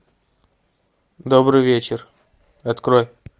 добрый вечер открой